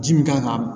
Ji min kan ka